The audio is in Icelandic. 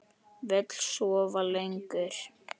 Vill sofa lengur.